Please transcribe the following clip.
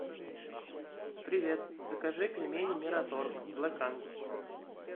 привет закажи пельмени мираторг блэк ангус